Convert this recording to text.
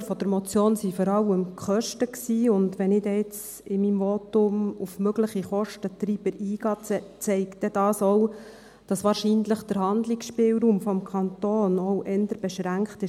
Die Auslöser der Motion waren vor allem die Kosten, und wenn ich jetzt in meinem Votum auf mögliche Kostentreiber eingehe, zeigt dies auch, dass wahrscheinlich der Handlungsspielraum des Kantons eher beschränkt ist.